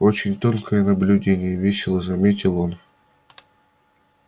очень тонкое наблюдение весело заметил он